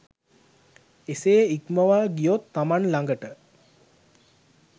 එසේ ඉක්මවා ගියොත් තමන් ළඟට